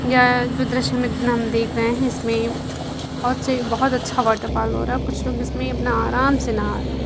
यहाँ जो दृश्य हम हमें देख रहे हैं इसमें बहुत से बहुत अच्छा वाटरफाल हो रहा है| कुछ लोग इसमें अपना आराम से नहा रहे हैं।